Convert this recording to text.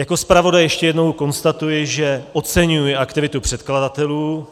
Jako zpravodaj ještě jednou konstatuji, že oceňuji aktivitu předkladatelů.